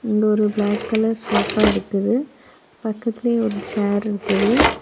இங்க ஒரு black colour sofa இருக்குது. பக்கத்திலியே ஒரு சேர் இருக்குது.